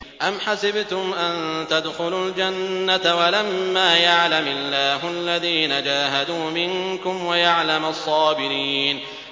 أَمْ حَسِبْتُمْ أَن تَدْخُلُوا الْجَنَّةَ وَلَمَّا يَعْلَمِ اللَّهُ الَّذِينَ جَاهَدُوا مِنكُمْ وَيَعْلَمَ الصَّابِرِينَ